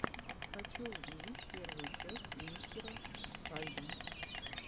хочу увидеть первую часть мистера хальда